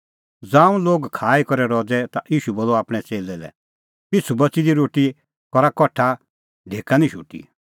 ज़ांऊं लोग खाई करै रज़ै ता ईशू बोलअ आपणैं च़ेल्लै लै पिछ़ू बच़ी दी रोटी करा कठा ढेका निं शोटी